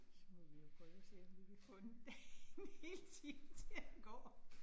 Så må vi jo prøve at se, om vi kan få en en hel time til at gå